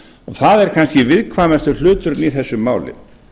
það er kannski viðkvæmasti hluturinn í þessu máli